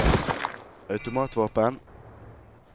automatvåpen